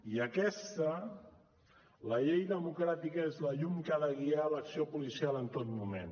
i aquesta la llei democràtica és la llum que ha de guiar l’acció policial en tot moment